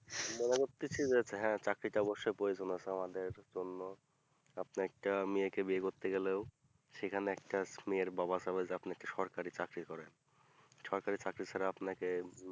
মনে করতেছি যে হ্যাঁ চাকরিটা অবশ্যই প্রয়জন আমাদের জন্য আপনি একটা মেয়েকে বিয়ে করতে গেলে ও সেখানে একটা মেয়ের বাবা সমেত আপনি কি সরকারি চাকরি করেন সরকারি চাকরি ছাড়া আপনাকে